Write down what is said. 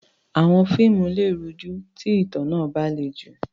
Àwọn fíìmù lè rújú tí ìtàn náà bá le jù.